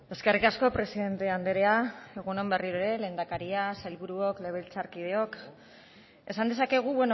eskerrik asko presidente andrea egun on berriro ere lehendakaria sailburuok legebiltzarkideok esan dezakegu